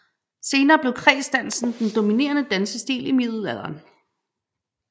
Senere blev kredsdansen den dominerende dansstilen i middelalderen